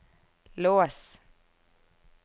lås